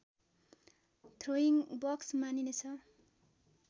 throwing box मानिनेछ